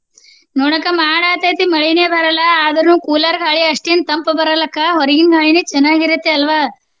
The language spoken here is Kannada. ನೋಡಕ್ಕಾ ಮಾಡ ಆಗ್ತೆತಿ ಮಳಿನೆ ಬರಲ್ಲಾ ಆದ್ರುನು cooler ಗಾಳಿ ಅಷ್ಟೇನ ತಂಪ ಬರಲ್ಲಾ ಅಕ್ಕಾ ಹೊರಗಿನ ಗಾಳಿನೆ ಚೆನ್ನಾಗಿರುತ್ತೆ ಅಲ್ವಾ?